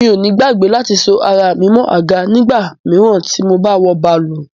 Mi ò ní gbàgbé láti so ara mi mọ́ àga nígbà míràn tí mo ba wọ bàálù.